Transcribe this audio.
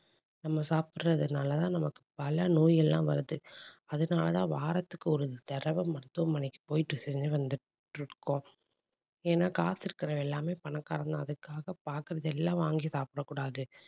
நம்ம சாப்பிடுறதுனால தான் நமக்கு பல நோய் எல்லாம் வருது அதனாலதான் வாரத்துக்கு ஒரு தடவை மருத்துவமனைக்கு போயிட்டு சென்று வந்துட்டு இருக்கோம். ஏன்னா காசு இருக்கறவன் எல்லாமே பணக்காரன்தான். அதுக்காக பாக்குறது எல்லாம் வாங்கி சாப்பிடக் கூடாது